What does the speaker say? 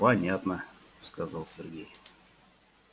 понятно сказал сергей